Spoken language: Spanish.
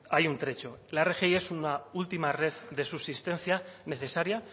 hay un trecho la rgi es una última red de subsistencia necesaria